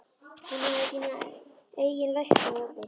Hún hefði sína eigin lækna úti.